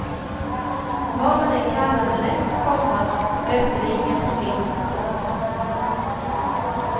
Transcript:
Vad man än kallade det, komma löste det inga problem. punkt